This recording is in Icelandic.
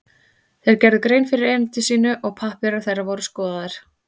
Þeir gerðu grein fyrir erindi sínu og pappírar þeirra voru skoðaðir.